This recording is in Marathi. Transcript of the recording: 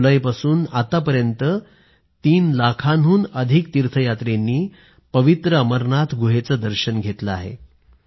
एक जुलैपासून आतापर्यंत तीन लाखांहून अधिक तीर्थयात्रींनी पवित्र अमरनाथ गुहेचं दर्शन घेतलं आहे